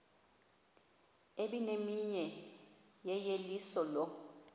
ebimenyiwe yeyeliso lo